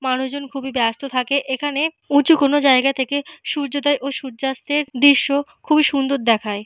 মানুষজন খুবই ব্যস্ত থাকে। এখানে উঁচু কোনো জায়গা থেকে সূর্যোদয় ও সূর্যাস্তের দৃশ্য খুব সুন্দর দেখায়।